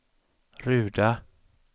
Ruda